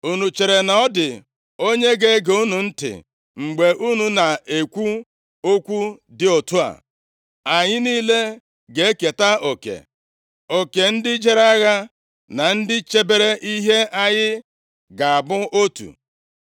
Unu chere na ọ dị onye ga-ege unu ntị mgbe unu na-ekwu okwu dị otu a? Anyị niile ga-eketa oke; oke ndị jere agha na ndị chebere ihe anyị ga-abụ otu.”